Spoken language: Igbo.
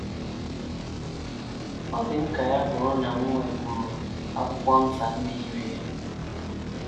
Ọ dị m ka ya bụrụ na m nwekwuru akwụkwọ nta ndị yiri ya. ”